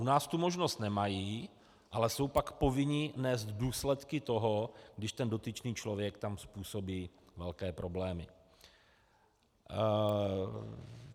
U nás tu možnost nemají, ale jsou pak povinni nést důsledky toho, když ten dotyčný člověk tam způsobí velké problémy.